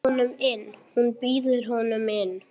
Hún býður honum inn.